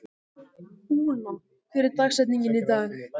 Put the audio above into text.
Úna, hver er dagsetningin í dag?